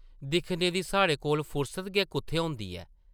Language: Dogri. दिक्खने दी साढ़े कोल फुर्सत गै कुʼत्थै होंदी ऐ ।